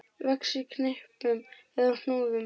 Vex í knippum eða hnúðum.